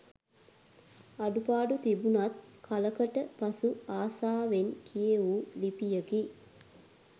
අඩුපාඩු තිබුනත් කලකට පසු ආසාවෙන් කියෙවු ලිපියකි